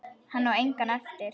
Hann á enga eftir.